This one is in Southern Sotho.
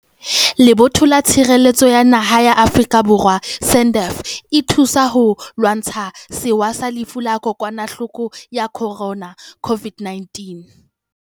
Lebotho la Tshireletso ya Naha la Afrika Borwa, SANDF, e thusa ho lwantsha sewa sa Lefu la Kokwa nahloko ya Corona, COVID-19,